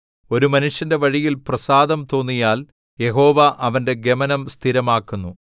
ഒരു മനുഷ്യന്റെ വഴിയിൽ പ്രസാദം തോന്നിയാൽ യഹോവ അവന്റെ ഗമനം സ്ഥിരമാക്കുന്നു